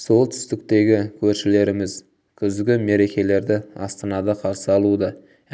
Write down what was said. солтүстіктегі көршілеріміз күзгі мерекелерді астанада қарсы алуды